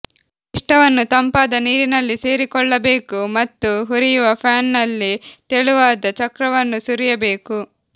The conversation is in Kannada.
ಪಿಷ್ಟವನ್ನು ತಂಪಾದ ನೀರಿನಲ್ಲಿ ಸೇರಿಕೊಳ್ಳಬೇಕು ಮತ್ತು ಹುರಿಯುವ ಪ್ಯಾನ್ನಲ್ಲಿ ತೆಳುವಾದ ಚಕ್ರವನ್ನು ಸುರಿಯಬೇಕು